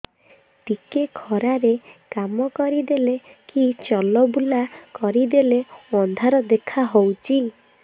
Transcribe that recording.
ଟିକେ ଖରା ରେ କାମ କରିଦେଲେ କି ଚଲବୁଲା କରିଦେଲେ ଅନ୍ଧାର ଦେଖା ହଉଚି